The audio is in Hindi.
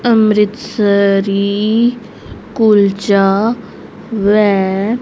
अमृतसरी कुलचा व--